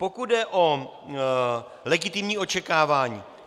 Pokud jde o legitimní očekávání.